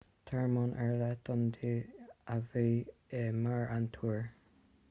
tearmann ar leith don dia a bhí i mbarr an túir